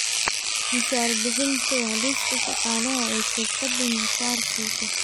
Mushaar bixinta Waa liiska shaqaalaha ay shirkadu mushaar siiso.